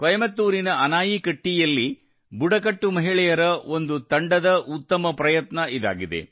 ಕೊಯಂಬತ್ತೂರಿನ ಅನಾಯಿಕಟ್ಟೀಯಲ್ಲಿ ಬುಡಕಟ್ಟು ಮಹಿಳೆಯರ ಒಂದು ತಂಡದ ಉತ್ತಮ ಪ್ರಯತ್ನ ಇದಾಗಿದೆ